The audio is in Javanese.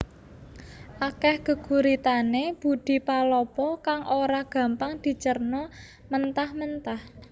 Akeh geguritane Budi Palopo kang ora gampang dicerna mentah mentah